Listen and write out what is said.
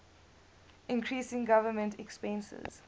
increasing government expenses